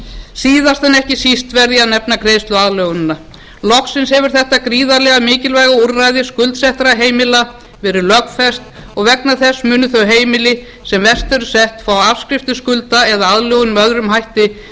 síðast en ekki síst verð ég að nefna greiðsluaðlögunina loksins hefur þetta gríðarlega mikilvæg úrræði skuldsettra heimila verið lögfest og vegna þess munu þau heimili sem verst eru sett fá afskrift skulda eða aðlögun með öðrum hætti sem